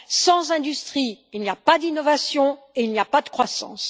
Sans industrie, il n'y a pas d'innovation et il n'y a pas de croissance.